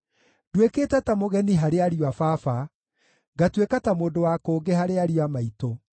Nduĩkĩte ta mũgeni harĩ ariũ a baba, ngatuĩka ta mũndũ wa kũngĩ harĩ ariũ a maitũ;